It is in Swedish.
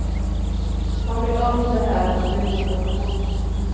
Man blir öm under hälen och det gör ont att gå.